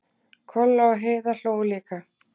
Kolla og Heiða hlógu líka.